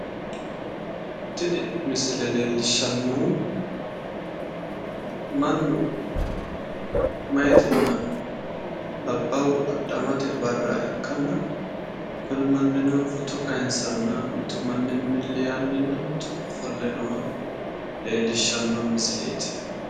tini misile leellishshannohu mannu meyaatinna labbaahu adhamate barra ikkanna kuni mannino footo kayiinsanna mitu manni milli yaanninna mitu ofolle noha leellishshanno misileeti.